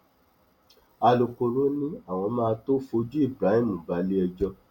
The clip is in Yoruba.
alūkkóró ni àwọn máa tóó fojú ibrahim balẹẹjọ